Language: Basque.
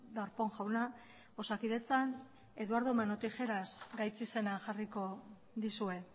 darpón jauna osakidetzan eduardo mano tijeras gaitzizena jarriko dizue